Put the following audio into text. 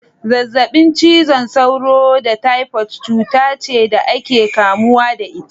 Zazzabin cizon sauro da typhoid cuta ce da ake kamuwa da ita.